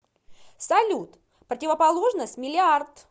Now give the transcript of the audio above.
салют противоположность миллиард